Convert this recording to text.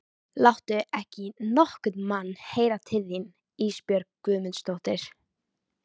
Láttu ekki nokkurn mann heyra til þín Ísbjörg Guðmundsdóttir.